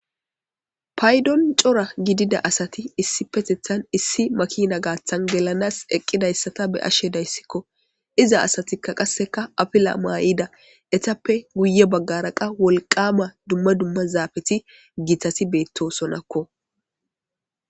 Payddon coora giddida assati issipetetan issi maakina gaththan gellanas eqqidayssata be7ashe dayisseko izza asati qasseka affila mayida ettappe guye baggara qa wolqqamma dumma dumma zaafeti giitati bettossonako.